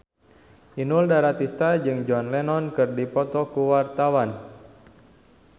Inul Daratista jeung John Lennon keur dipoto ku wartawan